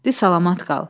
Di, salamat qal.